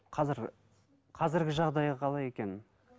қазір қазіргі жағдайы қалай екен